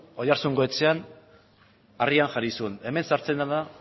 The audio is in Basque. oiartzungo etxean harrian jarri zuen hemen sartzen dena